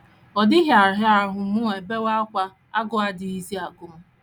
Ọ dịghị ara ahụ mụ ebewa ákwá, agụụ adịghịzi agụ m.